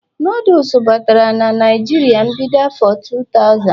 noodle batara Naijiria na mbido afo 2000